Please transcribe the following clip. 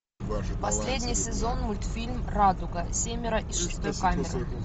последний сезон мультфильм радуга семеро из шестой камеры